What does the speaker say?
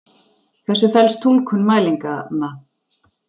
þessu felst túlkun mælinganna.